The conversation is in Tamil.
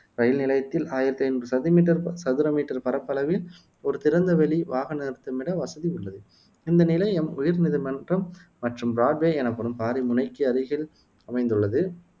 இரயில் நிலையத்தில் ஆயிரத்தி ஐநூறு சது மீட்டர் சதுர மீட்டர் பரப்பளவில் ஒரு திறந்த வெளி வாகன நிறுத்துமிட வசதி உள்ளது இந்த நிலையம் உயர் நீதிமன்றம் மற்றும் பிராட்வே எனப்படும் பாரிமுனைக்கு அருகில் அமைந்துள்ளது